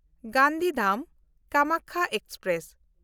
Gandhidham-Kamakhya express